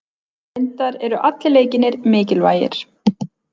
Reyndar eru allir leikirnir mikilvægir